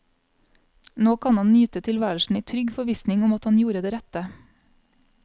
Nå kan han nyte tilværelsen i trygg forvissning om at han gjorde det rette.